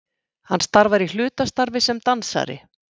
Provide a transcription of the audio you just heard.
Hann starfar í hlutastarfi sem dansari